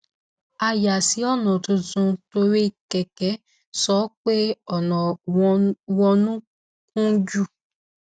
a yà sí ònà tuntun torí kẹkẹ sọ pé ònà wọnún kún jù